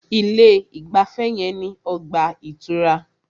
Ilé ìgbafẹ́ yẹn ní ọgbà ìtura.